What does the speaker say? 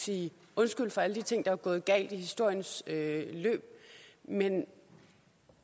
sige undskyld for alle de ting der er gået galt i historiens løb men